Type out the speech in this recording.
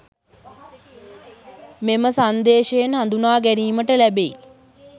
මෙම සන්දේශයෙන් හඳුනා ගැනීමට ලැබෙයි.